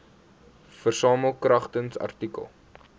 versamel kragtens artikel